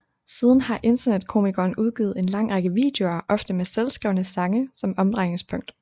Siden har internetkomikeren udgivet en lang række videoer ofte med selvskrevne sange som omdrejningspunkt